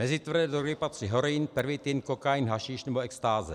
Mezi tvrdé drogy patří heroin, pervitin, kokain, hašiš nebo extáze.